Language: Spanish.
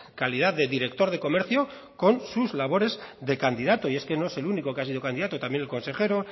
calidad de director de comercio con sus labores de candidato y es que no es único que ha sido candidato también el consejero